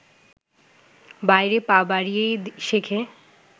বাইরে পা বাড়িয়েই শেখে